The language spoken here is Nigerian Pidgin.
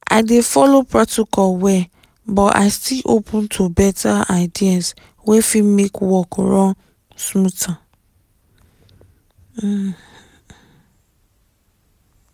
i dey follow protocol well but i still open to better ideas wey fit make work run smoother.